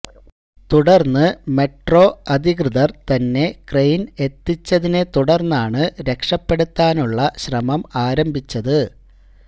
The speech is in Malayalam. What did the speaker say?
തുടർന്ന് മെട്രോ അധികൃതർ തന്നെ ക്രെയിൻ എത്തിച്ചതിനെ തുടർന്നാണ് രക്ഷപ്പെടുത്താനുള്ള ശ്രമം ആരംഭിച്ചത്